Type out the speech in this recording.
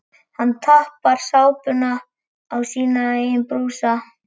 Hann tappar sápunni á sína eigin brúsa.